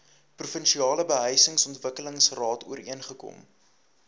provinsiale behuisingsontwikkelingsraad ooreengekom